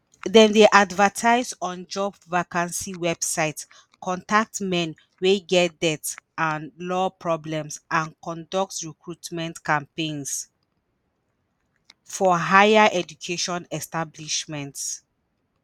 dem dey advertise on job vacancy websites contact men wey get debt and law problems and conduct recruitment campaigns for higher education establishments.